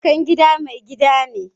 Yankan gida mai gida ne.